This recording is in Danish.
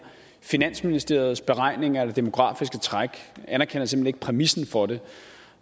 finansministeriets beregninger af det demografiske træk at han simpelt præmissen for det